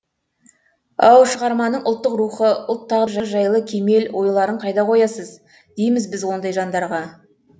ау шығарманың ұлттық рухы ұлт тағдыры жайлы кемел ойларын қайда қоясыз дейміз біз ондай жандарға